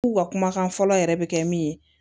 K'u ka kumakan fɔlɔ yɛrɛ bɛ kɛ min ye